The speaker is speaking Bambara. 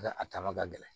Nka a tanga ka gɛlɛn